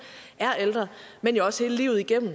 er ældre men jo også hele livet igennem